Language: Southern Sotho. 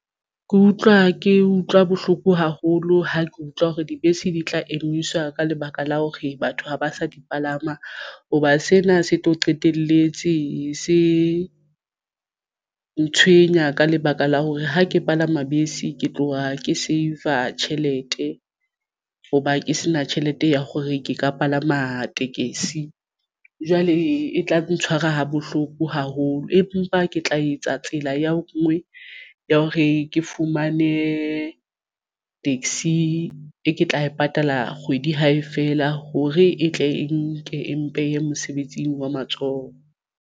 Ke utlwa ke utlwa bohloko haholo ha ke utlwa hore dibese di tla emiswa ka lebaka la hore batho ha ba sa di palama hoba sena se tlo qetelletse se ntshwenya ka lebaka la hore ha ke palama bese ke tloha ke save-a tjhelete hoba ke sena tjhelete ya hore ke ka palama tekesi jwale e tla ntshwara ha bohloko haholo empa ke tla etsa tsela ya ngwe ya hore ke fumane taxi e ke tla e patala kgwedi hae fela hore e tle e nke e mpe ya mosebetsing wa matsoho.